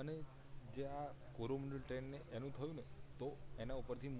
અને જે આ કોરોમન્ડળ ટ્રેન ને એનું થયું ને તો એના ઉપર થી